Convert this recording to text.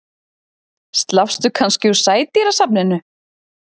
Slappstu kannski úr Sædýrasafninu?